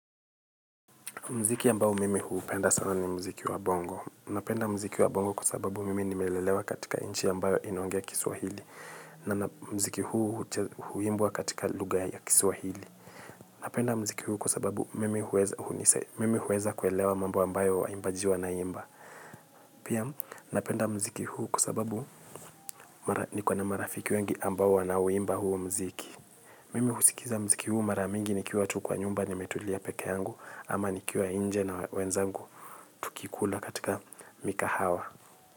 Muziki ambao mimi huupenda sana ni muziki wa bongo. Napenda muziki wa bongo kwa sababu mimi nimelelewa katika nchi ambayo inaongea kiswahili. Na muziki huimbwa katika lugha ya kiswahili. Napenda muziki huu kwa sababu mimi huweza kuelewa mambo ambayo waimbaji wanaimba. Pia napenda muziki huu kwa sababu niko na marafiki wengi ambao wanauimba huu muziki. Mimi husikiza mziki huu mara mingi nikiwa tu kwa nyumba nimetulia peke yangu ama nikiwa nje na wenzangu tukikula katika mikahawa.